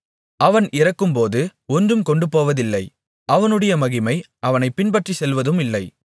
அவன் இறக்கும்போது ஒன்றும் கொண்டுபோவதில்லை அவனுடைய மகிமை அவனைப் பின்பற்றிச் செல்வதுமில்லை